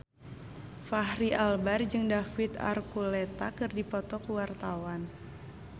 Fachri Albar jeung David Archuletta keur dipoto ku wartawan